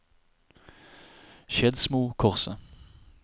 Skedsmokorset